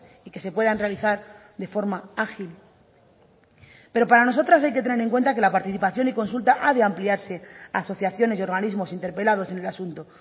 y que se puedan realizar de forma ágil pero para nosotras hay que tener en cuenta que la participación y consulta ha de ampliarse a asociaciones y organismos interpelados en el asunto